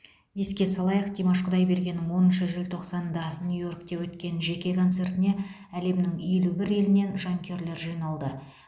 еске салайық димаш құдайбергеннің оныншы желтоқсанда нью йоркте өткен жеке концертіне әлемнің елу бір елінен жанкүйерлер жиналды